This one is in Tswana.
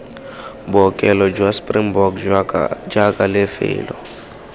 bookelo jwa springbok jaaka lefelo